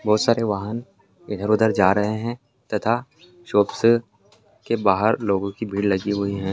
बहोत सारे वाहन इधर-उधर जा रहे हैं तथा शॉप्स के बाहर लोगों की भीड़ लगी हुई है।